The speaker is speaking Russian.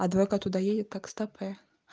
адвокат туда едет так стопэ